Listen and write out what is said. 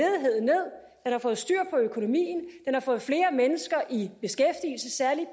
har fået styr på økonomien den har fået flere mennesker i beskæftigelse særlig